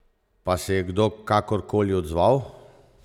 Pa se je kdo kakorkoli odzval?